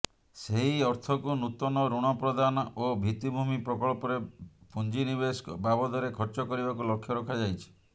ସେହି ଅର୍ଥକୁ ନୂତନ ଋଣ ପ୍ରଦାନ ଓ ଭିତ୍ତିଭୂମି ପ୍ରକଳ୍ପରେ ପୁଞ୍ଜିନିବେଶ ବାବଦରେ ଖର୍ଚ କରିବାକୁ ଲକ୍ଷ୍ୟ ରଖାଯାଇଛି